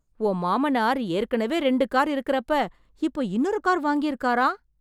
உன் மாமனார் ஏற்கெனவே ரெண்டு கார் இருக்கறப்ப, இப்போ இன்னொரு கார் வாங்கிருக்காராம்...